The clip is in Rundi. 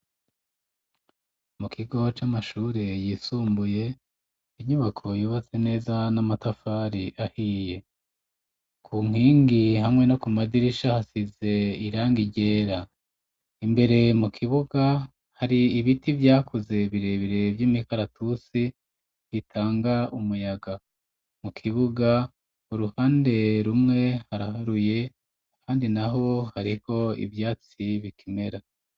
Mu kigo c'amashure yisumbuye, inyubako yubatse neza n'amatafari ahiye , ku nkingi hamwe no ku madirisha hasize irangi ryera, imbere mu kibuga hari ibiti vyakuze birebere vy'imikaratusi bitanga umuyaga, mu kibuga iruhande rumwe haraharuye kandi naho hariko ivyatsi bikimera.